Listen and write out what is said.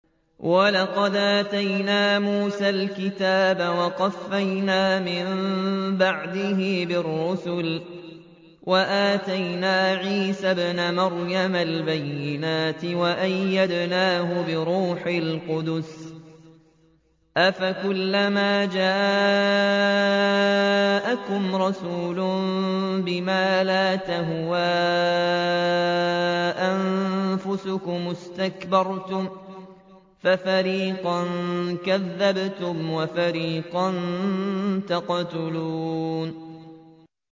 وَلَقَدْ آتَيْنَا مُوسَى الْكِتَابَ وَقَفَّيْنَا مِن بَعْدِهِ بِالرُّسُلِ ۖ وَآتَيْنَا عِيسَى ابْنَ مَرْيَمَ الْبَيِّنَاتِ وَأَيَّدْنَاهُ بِرُوحِ الْقُدُسِ ۗ أَفَكُلَّمَا جَاءَكُمْ رَسُولٌ بِمَا لَا تَهْوَىٰ أَنفُسُكُمُ اسْتَكْبَرْتُمْ فَفَرِيقًا كَذَّبْتُمْ وَفَرِيقًا تَقْتُلُونَ